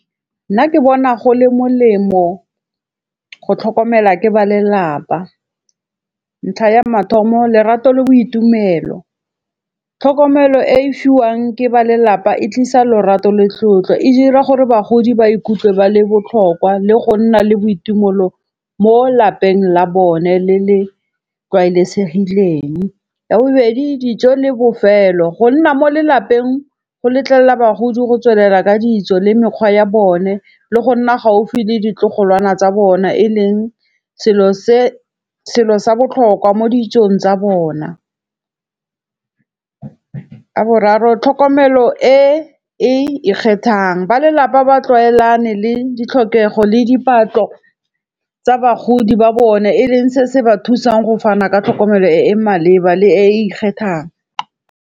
Nna ke bona go le molemo go tlhokomela ke ba lelapa. Ntlha ya mathomo, lerato le boitumelo, tlhokomelo e e fiwang ke ba lelapa e tlisa lorato le tlotlo. E dira gore bagodi ba ikutlwe ba le botlhokwa le go nna le boitumolo mo lapeng la bone le le tlwaelesegileng. Ya bobedi, dijo le bofelo. Go nna mo lelapeng go letlella bagodi go tswelela ka dijo le mekgwa ya bone le go nna gaufi le ditlogolwana tsa bona. E leng selo sa botlhokwa mo dijong tsa bona. Ya boraro, tlhokomelo e e ikgethang. Ba lelapa ba tlwaelanE le ditlhokego le diphatlo tsa bagodi ba bone e leng se se ba thusang go fana ka tlhokomelo e e maleba le e e ikgethang.